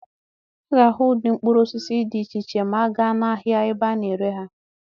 A ga-ahụ ụdị mkpụrụ osisi dị iche iche ma a gaa n'ahịa ebe a na-ere ha.